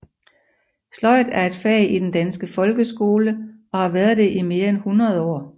Sløjd er et fag i den danske folkeskole og har været det i mere end hundrede år